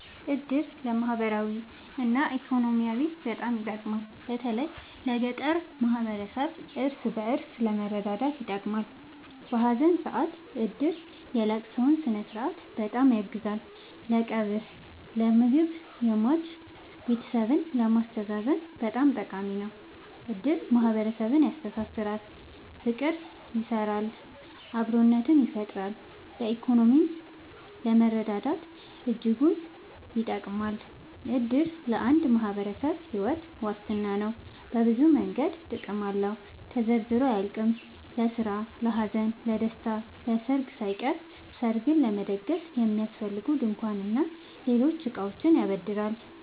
እድር ለማህበራዊ እና ኢኮኖሚያዊ በጣም ይጠቅማል። በተለይ ለገጠር ማህበረሰብ እርስ በእርስ ለመረዳዳት ይጠቅማል። በሀዘን ሰአት እድር የለቅሶውን ስነስርዓት በጣም ያግዛል ለቀብር ለምግብ የሟች ቤተሰብን ለማስተዛዘን በጣም ጠቃሚ ነው። እድር ማህረሰብን ያስተሳስራል። ፍቅር ይሰራል አብሮነትን ይፈጥራል። በኢኮኖሚም ለመረዳዳት እጅጉን ይጠብማል። እድር ለአንድ ማህበረሰብ ሒወት ዋስትና ነው። በብዙ መንገድ ጥቅም አለው ተዘርዝሮ አያልቅም። ለስራ ለሀዘን ለደሰታ። ለሰርግ ሳይቀር ሰርግ ለመደገስ የሚያስፈልጉ ድንኳን እና ሌሎች እቃዎችን ያበድራል